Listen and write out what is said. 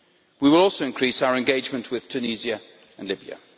We will also increase our engagement with Tunisia and Libya.